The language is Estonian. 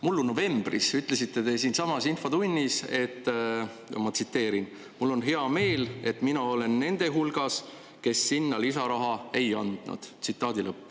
Mullu novembris ütlesite te siinsamas infotunnis: "Mul on hea meel, et mina olen nende hulgas, kes sinna lisaraha ei andnud.